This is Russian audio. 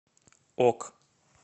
ок